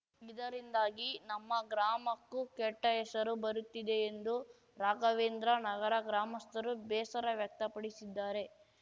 ಇದರಿಂದಾಗಿ ನಮ್ಮ ಗ್ರಾಮಕ್ಕೂ ಕೆಟ್ಟಹೆಸರು ಬರುತ್ತಿದೆ ಎಂದು ರಾಘವೇಂದ್ರ ನಗರ ಗ್ರಾಮಸ್ಥರು ಬೇಸರ ವ್ಯಕ್ತಪಡಿಸಿದ್ದಾರೆ